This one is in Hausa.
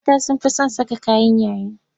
Mata sun fi son saka kayan yayi.